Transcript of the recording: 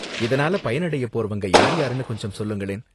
இதனால பயனடைய போறவங்க யார்யாருனு கொஞ்சம் சொல்லுங்களேன்.